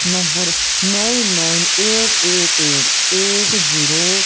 number nine nine eight eight eight eight zero --